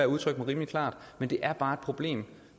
udtrykt mig rimelig klart men det er bare et problem